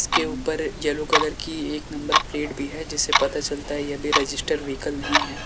इसके ऊपर yellow colour की एक नंबर प्लेट भी है जिससे पता चलता है यह भी रजिस्टर व्हीकल नहीं है।